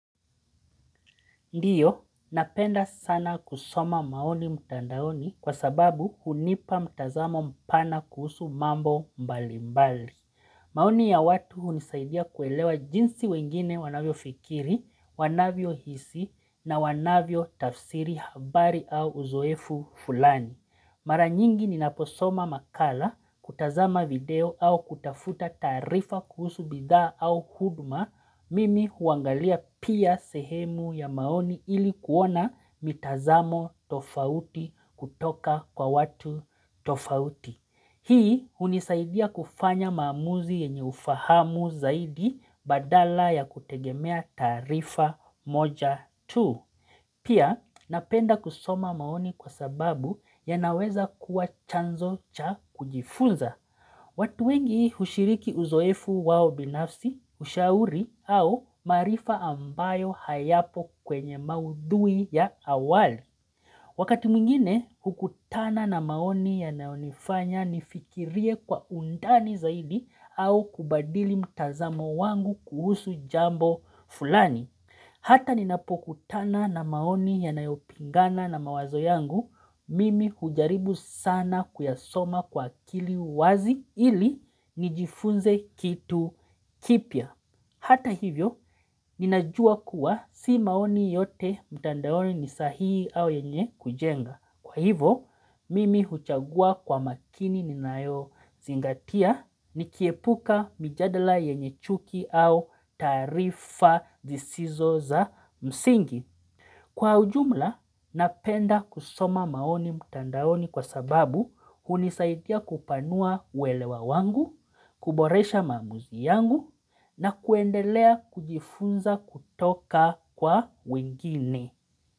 Ndiyo, napenda sana kusoma maoni mtandaoni kwa sababu hunipa mtazamo mpana kuhusu mambo mbalimbali. Maoni ya watu hunisaidia kuelewa jinsi wengine wanavyo fikiri, wanavyo hisi na wanavyo tafsiri habari au uzoefu fulani. Mara nyingi ni naposoma makala kutazama video au kutafuta tarifa kuhusu bidha au huduma mimi huangalia pia sehemu ya maoni ili kuona mitazamo tofauti kutoka kwa watu tofauti. Hii hunisaidia kufanya maamuzi yenye ufahamu zaidi badala ya kutegemea tarifa moja tu. Pia napenda kusoma maoni kwa sababu ya naweza kuwa chanzo cha kujifunza. Watu wengi hushiriki uzoefu wao binafsi, ushauri au maarifa ambayo hayapo kwenye maudhui ya awali. Wakati mwingine hukutana na maoni ya naonifanya nifikirie kwa undani zaidi au kubadili mtazamo wangu kuhusu jambo fulani. Hata ninapokutana na maoni yanayopingana na mawazo yangu, mimi hujaribu sana kuyasoma kwa akili wazi ili nijifunze kitu kipia. Hata hivyo, ninajua kuwa si maoni yote mtandaoni ni sahii au yenye kujenga. Kwa hivo, mimi huchagua kwa makini ninayo zingatia ni kiepuka mijadala yenye chuki au taarifa zisizo za msingi. Kwa ujumla, napenda kusoma maoni mtandaoni kwa sababu hunisaidia kupanua uwelewa wangu, kuboresha mamuzi yangu na kuendelea kujifunza kutoka kwa wengine.